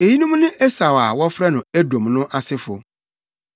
Eyinom ne Esau a wɔfrɛ no Edom no asefo.